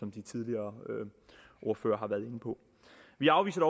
som de tidligere ordførere har været inde på vi afviser